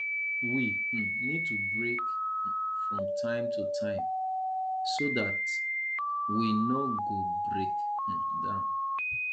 we um need to take break um from time to time so dat we no go break um down